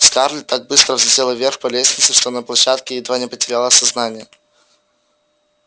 скарлетт так быстро взлетела вверх по лестнице что на площадке едва не потеряла сознание